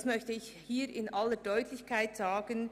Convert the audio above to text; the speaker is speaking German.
Das möchte ich hier in aller Deutlichkeit sagen.